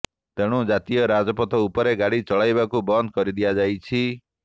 ତେଣୁ ଜାତୀୟ ରାଜପଥ ଉପରେ ଗାଡ଼ି ଚଳାଚଳକୁ ବନ୍ଦ କରି ଦିଆଯାଇଛି